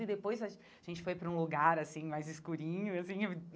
E depois a gente foi para um lugar, assim, mais escurinho assim.